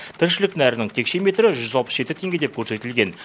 тіршілік нәрінің текше метрі жүз алпыс жеті теңге деп көрсетілген